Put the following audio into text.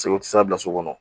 u tɛ se ka bila so kɔnɔ